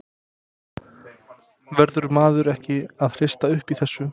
Verður maður ekki að hrista upp í þessu?